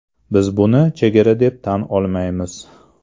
Biz buni chegara deb tan olmaymiz.